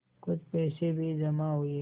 कुछ पैसे भी जमा हुए